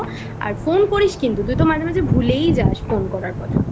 আর phone করিস কিন্তু তুই তো মাঝে মাঝে ভুলেই যাস phone করার কথা